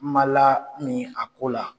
Ma la min a ko la.